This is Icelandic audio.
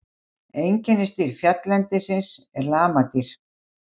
Einkennisdýr fjalllendisins eru lamadýr.